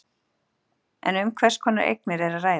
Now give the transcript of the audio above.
En um hvers konar eignir er að ræða?